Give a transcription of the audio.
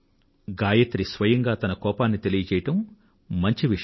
గాయత్రి స్వయంగా తన కోపాన్ని తెలియచెయ్యడం మంచి విషయం